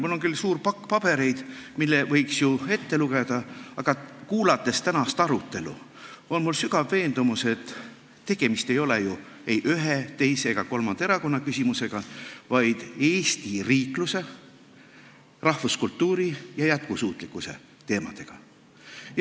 Mul on küll suur pakk pabereid, mille võiks ju ette lugeda, aga kuulates tänast arutelu, tekkis mul sügav veendumus, et tegemist ei ole ühe, teise ega kolmanda erakonna küsimusega, vaid Eesti riikluse, rahvuskultuuri ja jätkusuutlikkuse teemaga.